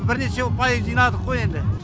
бірнеше ұпай жинадық қой енді